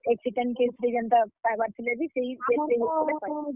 Accident case ରେ ଜେନ୍ତା ପାଏବାର୍ ଥିଲେ ବି ।